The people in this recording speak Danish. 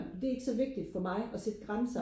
det er ikke så vigtigt for mig og sætte grænser